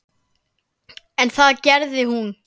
En það gerði hún.